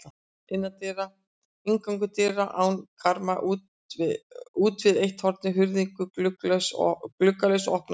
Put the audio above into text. Inngangur: dyr án karma útvið eitt hornið, hurðin gluggalaus og opnaðist út.